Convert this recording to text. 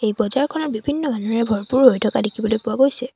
বজাৰখনৰ বিভিন্ন মানুহে ভৰপুৰ হৈ থকা দেখিবলৈ পোৱা গৈছে।